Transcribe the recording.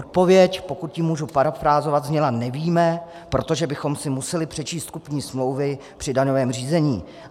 Odpověď, pokud ji mohu parafrázovat, zněla: Nevíme, protože bychom si museli přečíst kupní smlouvy při daňovém řízení.